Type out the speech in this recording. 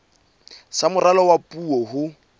sa moralo wa puo ho